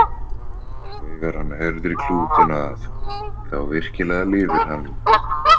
Þegar hann herðir klútinn að, þá virkilega lifir hann.